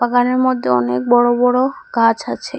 বাগানের মদ্যে অনেক বড় বড় গাছ আছে।